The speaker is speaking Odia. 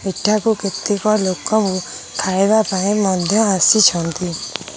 ଏଠାକୁ କେତେକ ଲୋକ ଖାଇଵା ପାଇଁ ମନ୍ଦିର ଆସିଛନ୍ତି।